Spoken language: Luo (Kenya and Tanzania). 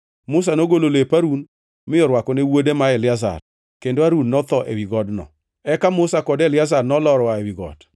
Musa nogolo lep Harun mi orwako ne wuode ma Eliazar. Kendo Harun notho ewi godno. Eka Musa kod Eliazar nolor oa ewi got,